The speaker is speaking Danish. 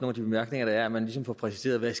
af de bemærkninger der er at man ligesom får præciseret hvad